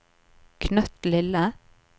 knøttlille